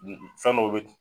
fɛn dɔw be